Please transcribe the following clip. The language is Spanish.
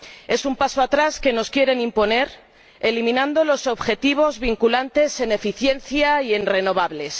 Es un paso atrás que nos quieren imponer, eliminando los objetivos vinculantes en eficiencia y en renovables.